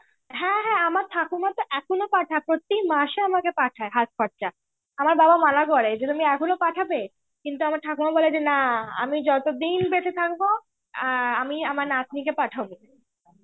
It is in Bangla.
হ্যাঁ হ্যাঁ , আমার ঠাকুমা তো এখনো পাঠায়. প্রতি মাসে পাঠায় হাত খরচা. আমার বাবা মানা করে যে তুমি এখনো পাঠাবে. কিন্তু আমার ঠাকুমা বলে যে না, আমি যতদিন বেঁচে থাকবো আ আমি আমার নাতনিকে পাঠাবো.